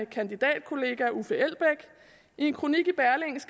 kandidatkollega uffe elbæk i en kronik